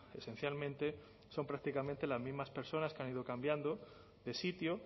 esencialmente son prácticamente las mismas personas que han ido cambiando de sitio